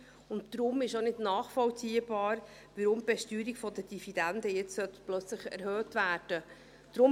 Es ist deshalb auch nicht nachvollziehbar, weshalb die Besteuerung der Dividenden jetzt plötzlich erhöht werden sollte.